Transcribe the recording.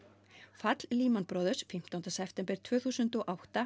fall Brothers fimmtánda september tvö þúsund og átta